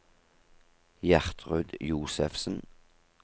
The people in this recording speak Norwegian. Gjertrud Josefsen